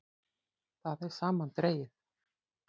Það er samandregið.